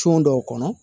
dɔw kɔnɔ